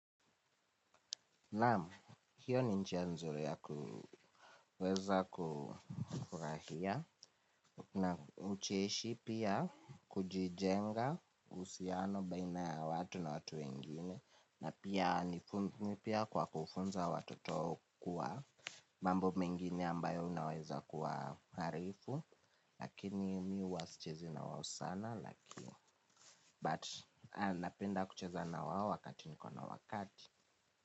Naam, hiyo ni njia nzuri ya kuweza, kufurahia. Na ucheshi pia kujijenga uhusiano baina ya watu na watu wengine. Na pia ni nguvu mpya kwa kufunza watoto kuwa mambo mengine ambayo unaweza kuwaarifu. Lakini mi huwa sichezi na wao sana But, napenda kucheza na wao wakati niko na wakati.